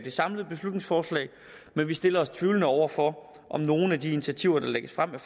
samlede beslutningsforslag men vi stiller os tvivlende over for om nogle af de initiativer der lægges frem med